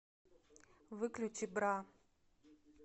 выключи бра